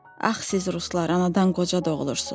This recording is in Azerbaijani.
Ax siz ruslar anadan qoca doğulursuz.